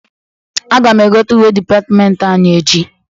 Aga m egote uwe dịpatịmentị anyị echi.